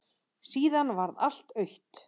Síðan varð allt autt.